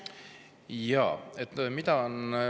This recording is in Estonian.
Jaa.